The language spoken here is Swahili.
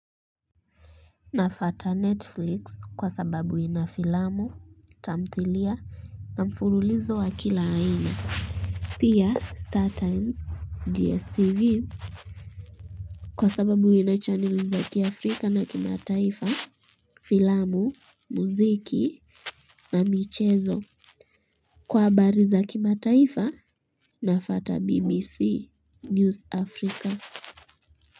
Nafata netflix kwa sababu ina filamu tamthilia na mfululizo wa kila haina pia star times dstv kwa sababu ina chaneli za kiafrika na kimataifa filamu muziki na michezo kwa habari za kimataifa nafata bbc news afrika.